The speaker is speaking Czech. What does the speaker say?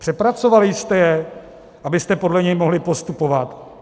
Přepracovali jste jej, abyste podle něj mohli postupovat?